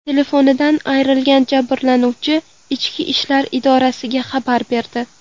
Telefonidan ayrilgan jabrlanuvchi ichki ishlar idoralariga xabar berdi.